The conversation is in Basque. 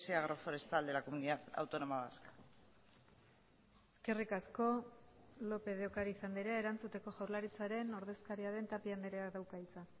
agroforestal de la comunidad autónoma vasca eskerrik asko lópez de ocariz andrea erantzuteko jaurlaritzaren ordezkaria den tapia andreak dauka hitza